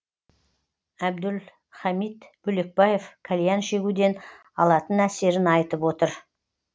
әбдулхамит бөлекбаев кальян шегуден алатын әсерін айтып отыр